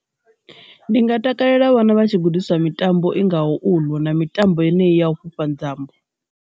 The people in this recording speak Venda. Ndi nga takalela vhana vha tshi gudiswa mitambo i ngaho uḽu na mitambo ine i ya u fhufha nzambo.